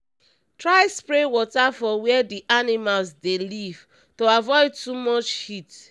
try spray water for where d animals dey live to avoid too much heat